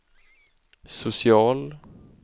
social